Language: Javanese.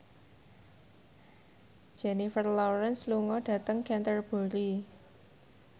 Jennifer Lawrence lunga dhateng Canterbury